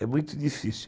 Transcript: É muito difícil.